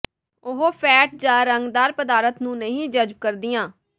ਉਹ ਫੈਟ ਜਾਂ ਰੰਗਦਾਰ ਪਦਾਰਥ ਨੂੰ ਨਹੀਂ ਜਜ਼ਬ ਕਰਦੀਆਂ